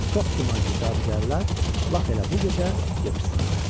Çox güman ki, cadugərlər lap elə bu gecə yığışsınlar.